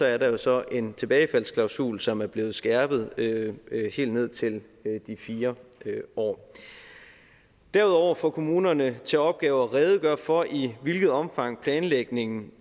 er der jo så en tilbagefaldsklausul som er blevet skærpet helt ned til de fire år derudover får kommunerne til opgave at redegøre for i hvilket omfang planlægningen